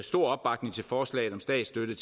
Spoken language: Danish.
stor opbakning til forslaget om statsstøtte